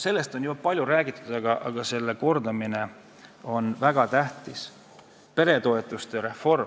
Sellest on ju palju räägitud, aga selle kordamine on väga tähtis: peretoetuste reform.